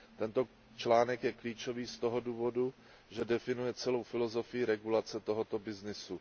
Tento článek je klíčový z toho důvodu, že definuje celou filozofii regulace tohoto obchodu.